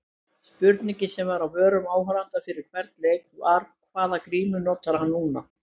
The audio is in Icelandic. Spurningin sem var á vörum áhorfenda fyrir hvern leik var- hvaða grímu notar hann núna?